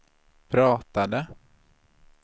pratade